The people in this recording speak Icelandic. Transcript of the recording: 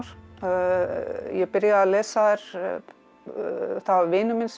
ég byrjaði að lesa þær það var vinur minn sem